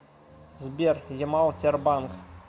сбер ямал тербанк